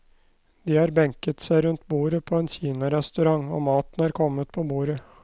De har benket seg rundt bordet på en kinarestaurant, og maten er kommet på bordet.